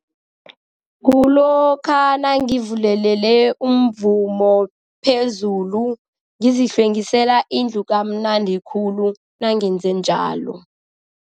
Kulokha nangivulelele umvumo phezulu ngizihlwengisela indlu kamnandi khulu, nangenze njalo.